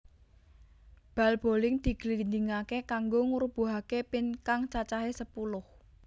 Bal boling diglindingaké kanggo ngrubuhake pin kang cacahé sepuluh